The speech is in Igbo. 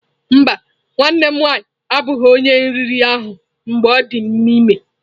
Mba, nwanne m nwanyị abụghị onye nri riri ahụ mgbe ọ dị ime.